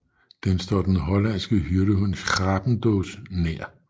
Den står den hollandske hyrdehund Schapendoesnær